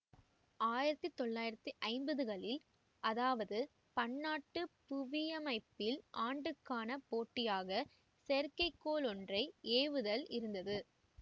ஆயிரத்தி தொள்ளாயிரத்தி ஐம்பதுகளில் அதாவது பன்னாட்டு புவியமைப்பியல் ஆண்டுக்கான போட்டியாக செயற்கைக்கோள் ஒன்றை ஏவுதல் இருந்தது